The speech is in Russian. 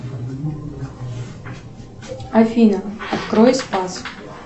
афина открой спас